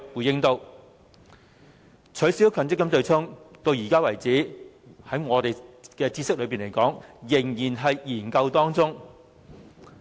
至於取消強積金對沖機制，據我們所知，至今仍然在"研究"中。